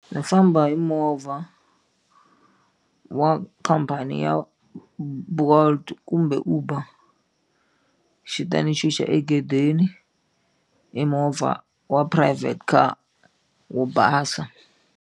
Ndzi famba hi movha wa khampani ya Bolt kumbe Uber xi ta ni chicha egedeni hi movha wa private car wo basa.